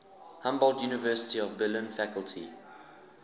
humboldt university of berlin faculty